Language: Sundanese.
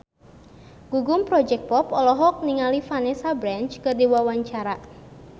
Gugum Project Pop olohok ningali Vanessa Branch keur diwawancara